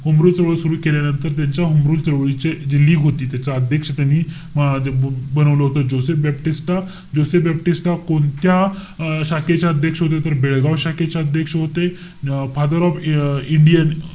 Home Rule चळवळ सुरु केल्यानंतर त्यांच्या होमरूल चळवळीची जी league होती. त्याचा अध्यक्ष त्यांनी म~ अं बनवलं होत, जोसेफ बॅप्टिस्टा. जोसेफ बॅप्टिस्टा कोणत्या अं शाखेच्या अध्यक्ष होते तर, बेळगाव शाखेचे अध्यक्ष होते. अं फादर ऑफ अं इंडियन,